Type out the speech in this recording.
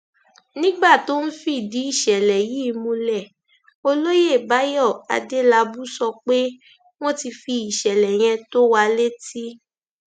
nígbà tó ń fìdí ìṣẹlẹ yìí múlẹ olóyè báyọ adélábù sọ pé wọn ti fi ìṣẹlẹ yẹn tó wa létí